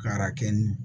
Kara kɛ nin